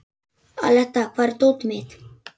Aletta, hvar er dótið mitt?